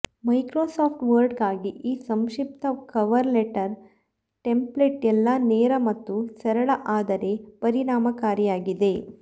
Microsoft ವರ್ಡ್ಗಾಗಿ ಈ ಸಂಕ್ಷಿಪ್ತ ಕವರ್ ಲೆಟರ್ ಟೆಂಪ್ಲೇಟು ಎಲ್ಲಾ ನೇರ ಮತ್ತು ಸರಳ ಆದರೆ ಪರಿಣಾಮಕಾರಿಯಾಗಿದೆ